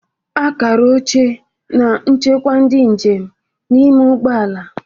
Akara oche na-echekwa ndị njem n'ime ụgbọ ala.